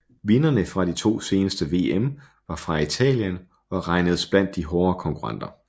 Vinderne fra de to seneste VM var fra Italien og regnedes blandt de hårde konkurrenter